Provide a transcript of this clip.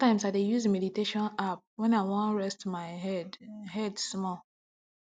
sometimes i dey use meditation app when i wan reset my head head small